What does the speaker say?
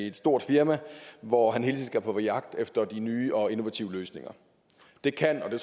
et stort firma hvor han hele tiden skal gå på jagt efter de nye og innovative løsninger det